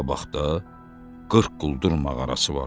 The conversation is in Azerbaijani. Qabaqda 40 quldur mağarası var.